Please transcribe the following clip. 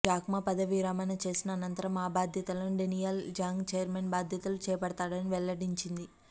Jack Ma పదవీ విరమణ చేసిన అనంతరం ఆ బాధ్యతలను డేనియల్ జాంగ్ ఛైర్మెన్ బాధ్యతలు చేపడతారని వెల్లడించింది